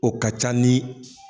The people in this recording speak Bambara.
O ka ca ni.